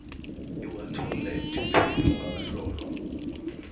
iwathola emthethweni ongakatlolwa